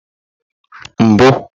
mbu